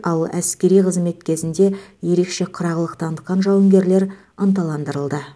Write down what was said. ал әскери қызмет кезінде ерекше қырағылық танытқан жауынгерлер ынталандырылды